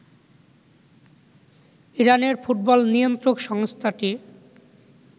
ইরানের ফুটবল নিয়ন্ত্রক সংস্থাটি